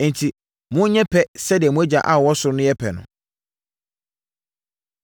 Enti monyɛ pɛ sɛdeɛ mo Agya a ɔwɔ ɔsoro no yɛ pɛ no.